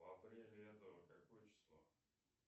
в апреле этого какое число